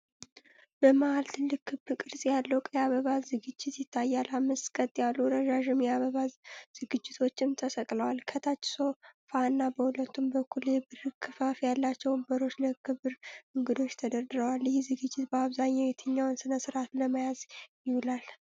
በመሀል ትልቅ ክብ ቅርጽ ያለው ቀይ አበባ ዝግጅት ይታያል። አምስት ቀጥ ያሉ ረዣዥም የአበባ ዝግጅቶችም ተሰቅለዋል። ከታች ሶፋ እና በሁለቱም በኩል የብር ክፈፍ ያላቸው ወንበሮች ለክብርት እንግዶች ተደርድረዋል። ይህ ዝግጅት በአብዛኛው የትኛውን ሥነ-ሥርዓት ለመያዝ ይውላል?